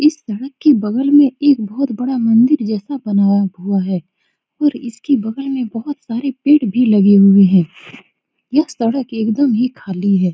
इस सड़क के बगल में एक बहुत बड़ा मंदिर जैसा बनाया हुआ है और इसके बगल में बहुत सारे पेड़ भी लगे हुए हैं यह सड़क एकदम ही खाली है ।